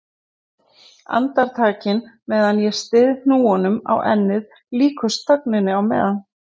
Andaktin á meðan ég styð hnúum á ennið líkust þögninni á meðan